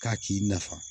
K'a k'i nafa